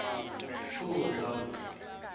pfunzo